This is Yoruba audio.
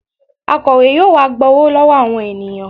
Akọ̀we yóò wá gba owó lọ́wọ́ àwọn ènìyàn